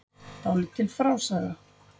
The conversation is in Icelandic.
Dálítil frásaga.